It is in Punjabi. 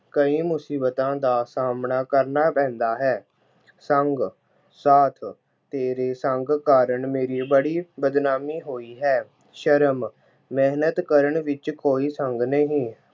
ਕਈ ਮੁਸੀਬਤਾਂ ਦਾ ਸਾਹਮਣਾ ਕਰਨਾ ਪੈਂਦਾ ਹੈ। ਸੰਗ- ਸਾਥ- ਤੇਰੇ ਸੰਗ ਕਾਰਨ ਮੇਰੀ ਬੜੀ ਬਦਨਾਮੀ ਹੋਈ ਹੈ। ਸ਼ਰਮ- ਮਿਹਨਤ ਕਰਨ ਵਿੱਚ ਕੋਈ ਸੰਗ ਨਹੀਂ।